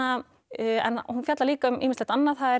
en hún fjallar líka um ýmislegt annað það er